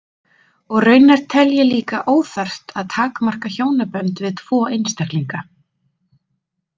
Og raunar tel ég líka óþarft að takmarka hjónabönd við tvo einstaklinga.